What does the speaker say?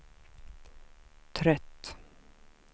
trött